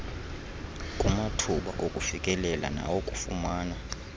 kumathuba okufikelela nawokufumana